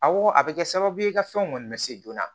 Awɔ a bɛ kɛ sababu ye ka fɛnw kɔni lase joona